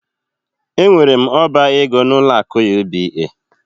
Enwere m oba ego n'ụlọ akụ UBA.